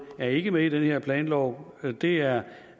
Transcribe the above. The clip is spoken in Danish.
er ikke med i den her planlov det er